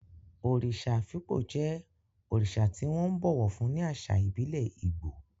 Òrìṣà Afikpo jẹ́ òrìṣà tí wọ́n ńbọ̀wọ̀ fún ní àṣà ìbílẹ̀ Igbo.